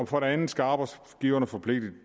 for det andet skal arbejdsgiverne forpligtes